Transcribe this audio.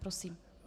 Prosím.